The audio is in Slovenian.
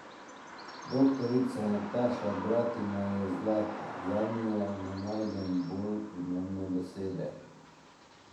Doktorica Nataša Bratina je zlata, zanjo ne najdem bolj primerne besede.